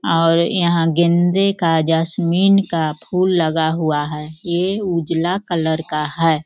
और यहाँ गेंदे का जैस्मिन का फूल लगा हुआ है ये उजला कलर का है।